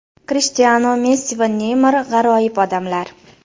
Krishtianu, Messi va Neymar g‘aroyib odamlar.